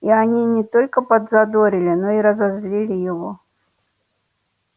и они не только подзадорили но и разозлили его